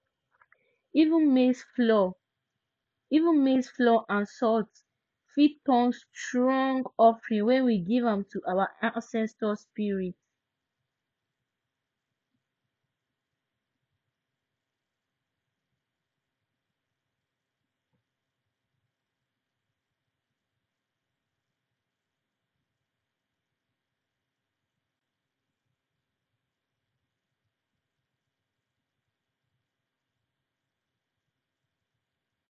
even maize flour even maize flour and salt fit turn strong offering when we give am to our ancestors spirits